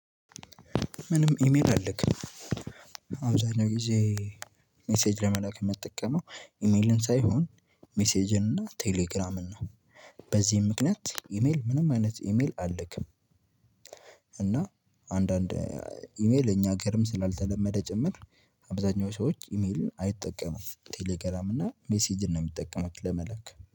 ምንም ኢሜል አለክም አብዛኛው ጊዜ ሜሴጅ ለመላክ የምትጠቀመው ኢሜልን ሳይሆን ሜሴጅን እና ቴሌግራምን ነው። በዚህም ምክንያት ኢሜል ምንም አይነት ኢሜል አልክም። እና አንዳንድ ኢሜል እኛ ሀገርም ስላልተለመደ ጭምር። አብዛኛው ሰዎች ኢሜልን አይጠቀሙም ቴሌግራም እና ሜሴጅን ነው የሚጠቀሙት ለመላክ